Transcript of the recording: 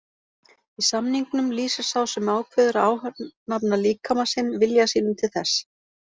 Í samningnum lýsir sá sem ákveður að ánafna líkama sinn vilja sínum til þess.